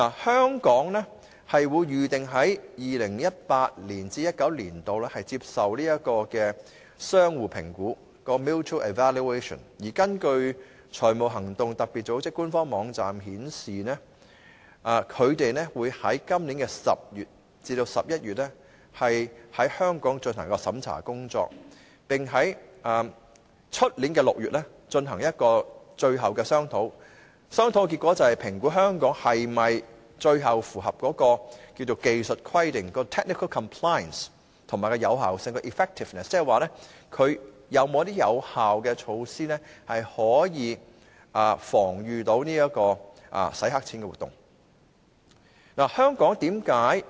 香港預定於 2018-2019 年度接受相互評估，而根據財務行動特別組織的官方網站，它將會在今年10月至11月於香港進行審查工作，然後在明年6月進行最後商討，評估香港是否符合技術規定及有效性，即是說香港有否推行有效措施防禦洗黑錢活動。